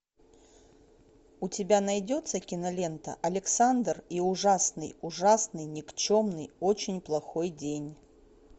у тебя найдется кинолента александр и ужасный ужасный никчемный очень плохой день